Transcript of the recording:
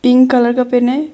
Pink colour का पहने हैं।